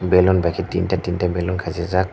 balloon by ke tinta tinta balloon khasi jaak.